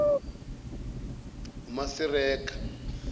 masireka